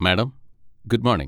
Madam, good morning.